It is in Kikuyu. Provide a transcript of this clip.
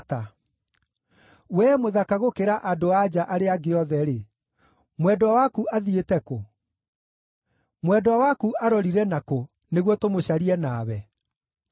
Wee mũthaka gũkĩra andũ-a-nja arĩa angĩ othe-rĩ, mwendwa waku athiĩte kũ? Mwendwa waku arorire na kũ, nĩguo tũmũcarie nawe?